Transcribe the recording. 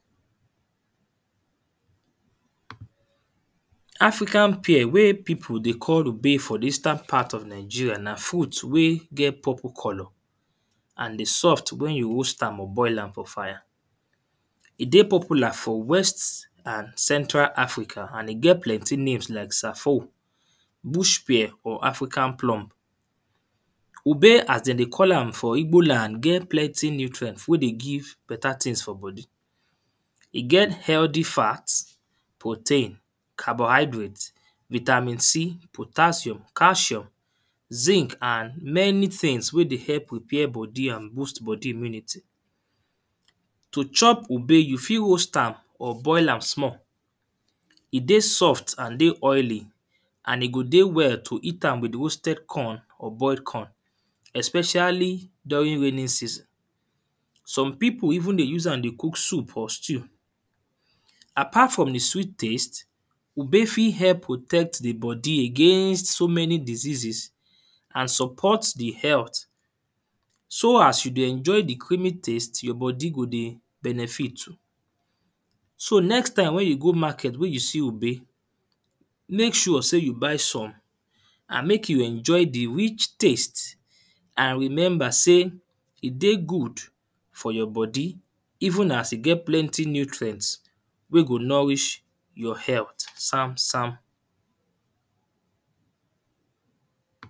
African pear wey people dey call Ube for the Eastern part of Nigeria na fruit wey get puple colour. And e soft when you roast am or boil am for fire. E get popular for west and central africa and e get plenty name like Safou, bush pear of African plum. Ube as de dey call am for Igbo land get plenty nutrient wey dey give better things for body. E get healthy fat, protein, carbonhydrate, vitamin C, cabon, potassium, calcium zinc and many things wey dey help repair body and boost body immunity. To chop Ube, you fit roast am or boil am small. E dey soft and e dey oily and e go dey well to eat am with roasted corn or boiled corn, especially during raining season. Some people even dey use am cook soup or stew. Apart from the sweet taste, Ube fit help protect the body against so many diseases and support the health. So as you dey enjoy the creaming taste, your body go dey benefit too. So next time wey you go market, when you see Ube make sure sey you buy some and make you enjoy the rich taste. And remember sey, e dey good for your body. Even as e get plenty nutrient wey go nourish your health sam sam.